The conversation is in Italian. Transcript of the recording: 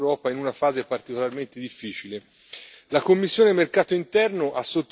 contribuendo al rilancio degli investimenti in Europa in una fase particolarmente difficile.